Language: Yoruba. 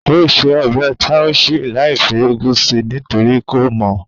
Ó se ọbẹ̀ taushe láìfi úgú sí nítorí kò mọ̀